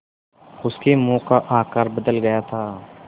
उसके मुँह का आकार बदल गया था